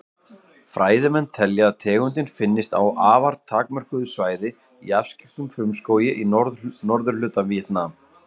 Fræðimenn telja að tegundin finnist á afar takmörkuðu svæði í afskekktum frumskógi í norðurhluta Víetnam.